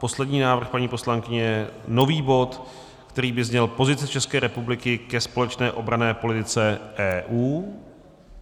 Poslední návrh paní poslankyně je nový bod, který by zněl Pozice České republiky ke společné obranné politice EU.